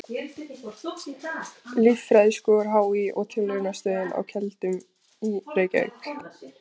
Líffræðiskor HÍ og Tilraunastöðin á Keldum, Reykjavík.